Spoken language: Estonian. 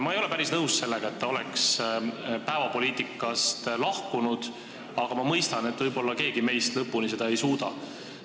Ma ei ole päris nõus sellega, et ta on päevapoliitikast lahkunud, aga ma mõistan, et võib-olla keegi meist seda lõpuni ei suuda.